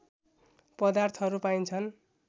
पदार्थहरू पाइन्छन्